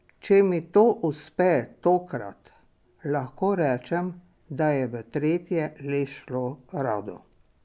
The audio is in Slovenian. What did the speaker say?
Če mi to uspe tokrat, lahko rečem, da je v tretje le šlo rado.